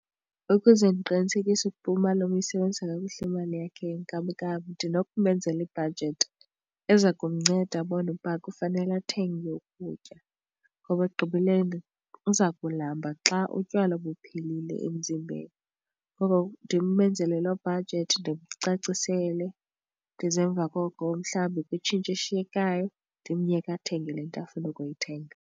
Ukuze ndiqinisekise ukuba umalume uyisebenzisa kakuhle imali yakhe yenkamnkam ndinokumenzela ibhajethi eza kumnceda abone ukuba ufanele athenge ukutya, ngoba ekugqibeleni uza kulamba xa utywala buphelile emzimbeni. Ngoko ndimenzele loo bhajethi, ndimcacisele ndize emva koko mhlawumbi kwitshintshi eshiyekayo ndimyeke athenge le nto afuna ukuyithenga.